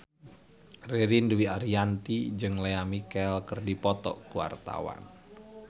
Ririn Dwi Ariyanti jeung Lea Michele keur dipoto ku wartawan